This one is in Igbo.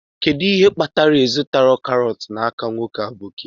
Kedu ihe kpatara na ị zụtaghị karọt n'aka nwoke aboki?